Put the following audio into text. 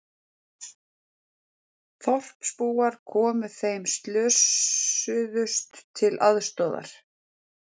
Þorpsbúar komu þeim slösuðust til aðstoðar